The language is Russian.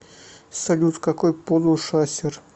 салют какой пол у шасер